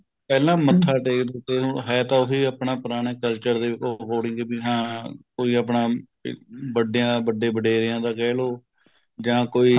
ਪਹਿਲਾਂ ਮੱਥਾ ਟੇਕਦੇ ਤੇ ਹੁਣ ਹੈ ਤਾਂ ਉਹੇ ਆਪਣਾ ਪੁਰਾਣਾ culture ਦੇ ਉਹ according ਹਾਂ ਕੋਈ ਆਪਣਾ ਵੱਡੇਆ ਵੱਡੇ ਵਡੇਰੇਆ ਦਾ ਕਹਿਲੋ ਜਾਂ ਕੋਈ